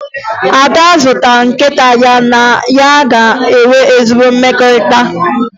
Ada ga-azụta nkịta ya na ya ga-enwe ezi mmekọrịta